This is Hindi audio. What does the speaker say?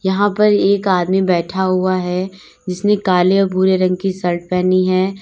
यहां पर एक आदमी बैठा हुआ है जिसने काले और भूरे रंग की शर्ट पहनी है।